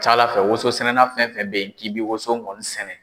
Ca Ala woson sɛnɛna fɛn fɛn be yen, k'i bi woson kɔni sɛnɛ